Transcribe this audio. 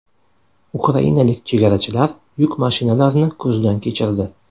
Ukrainalik chegarachilar yuk mashinalarini ko‘zdan kechirdi.